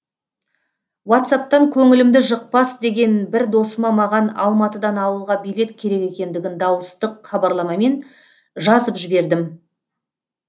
уатсаптан көңілімді жықпас деген бір досыма маған алматыдан ауылға билет керек екендігін дауыстық хабарламамен жазып жібердім